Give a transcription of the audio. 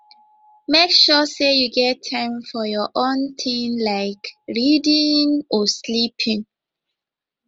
make sure sey you get time for your own tin like reading or sleeping